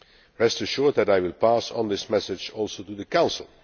Rest assured that I will pass on this message also to the Council.